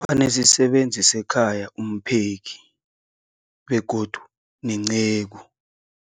Banesisebenzi sekhaya, umpheki, begodu nenceku.